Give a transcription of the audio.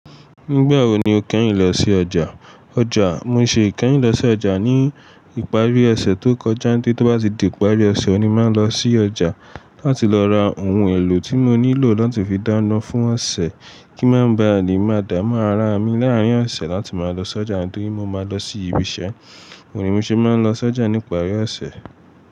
Nígbà wo ni o kẹ́yìn lọ sí ọjà? Ọjà, mo ṣi kẹ́yìn lọ sí ọjà ní ìparí ọ̀sẹ̀ tó kọjá, ní tó bá ti di ìparí ọ̀sẹ̀ ni máa ń lọ sí ọjà láti lọ ra ohun èlò tí mo nílò láti fi dáná fún ọ̀sẹ̀ kí má ba le máa dá mu ara mi láàárín ọ̀sẹ̀ láti máa lọ sójà nítorí mo máa ń lọ sí ibi iṣẹ́. Òuní ni mo ṣe máa ń lọ sójà ní ìparí ọ̀sẹ̀.